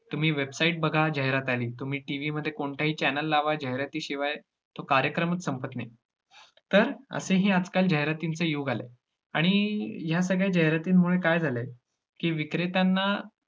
तुम्ही website बघा जाहिरात आली, तुम्ही TV मध्ये कोणताही channel लावा, जाहिरातीशिवाय तो कार्यक्रमच संपत नाही. तर असेही आजकाल जाहिरातींचे योग आलेत आणि ह्या सगळ्या जाहिरातींमुळे काय झाले की विक्रेत्यांना